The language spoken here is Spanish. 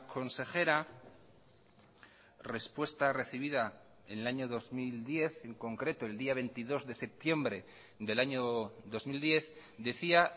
consejera respuesta recibida en el año dos mil diez en concreto el día veintidós de septiembre del año dos mil diez decía